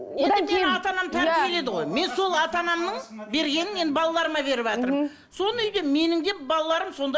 мен сол ата анамның бергенін мен балаларыма беріватырмын мхм соны үйде менің де балаларым сонда